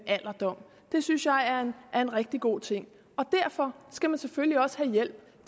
alderdom det synes jeg er en rigtig god ting derfor skal man selvfølgelig også have hjælp